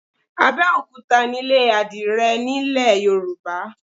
Abẹ́òkúta nílé àdìrẹ nílẹ̀ Yorùbá.